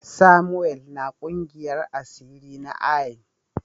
Samuel na kungiyar asiri na Aye.